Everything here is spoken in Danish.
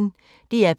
DR P1